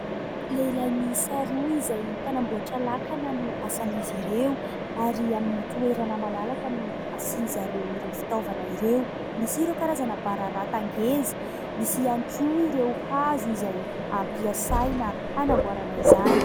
Lehilahy miisa roa izay mpanamboatra lakana no asan'izy ireo ary amin'ny toerana malalaka no asian'i zareo ireo fitaovana ireo. Misy ireo karazana bararata ngeza, misy ihany koa ireo hazo izay ampiasaina hanamboarana izany.